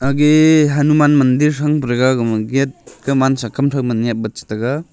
age ge Hanuman mandir sank pa thega gama gate kuman sa kam thow man napley chi taiga.